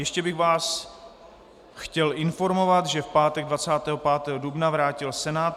Ještě bych vás chtěl informovat, že v pátek 25. dubna vrátil Senát